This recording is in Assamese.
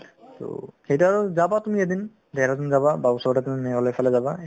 তৌ সেই তাত আৰু যাবা তুমি এদিন দেহৰাদুন যাবা বা ওচৰতে তুমি মেঘালয়ৰ ফালে যাবা